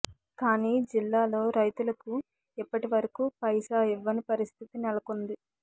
కానీ జిల్లాలో రైతులకు ఇప్పటి వరకు పైసా ఇవ్వని పరిస్థితి నెలకొంది